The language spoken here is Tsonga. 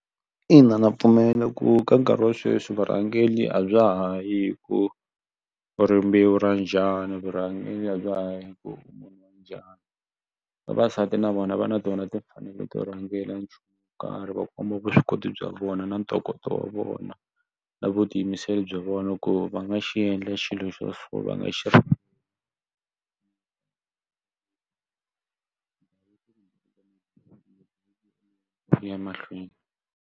Ina ndza pfumela ku ka nkarhi wa sweswi vurhangeli a bya ha yi ku u rimbewu ra njhani vurhangeri a bya ha yi hi ku u munhu wa njhani vavasati na vona va na tona timfanelo to rhangela nchumu wo karhi va komba vuswikoti bya vona na ntokoto wa vona na vutiyimiseri bya vona ku va nga xi endla xilo xo so va nga xi ya mahlweni.